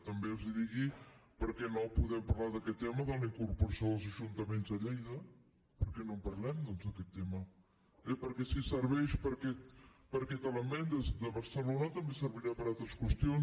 també els ho dic per què no podem parlar d’aquest tema de la incorporació dels ajuntaments de lleida per què no en parlem doncs d’aquest tema perquè si serveix per a aquest element de barcelona també ser·virà per a altres qüestions